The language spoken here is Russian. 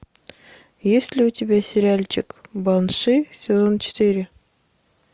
есть ли у тебя сериальчик банши сезон четыре